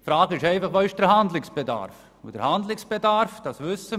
Nun stellt sich einfach die Frage, wo der Handlungsbedarf besteht.